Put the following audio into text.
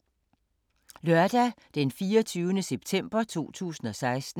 Lørdag d. 24. september 2016